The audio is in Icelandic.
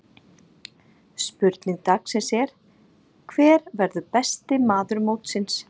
Spurning dagsins er: Hver verður besti maður mótsins?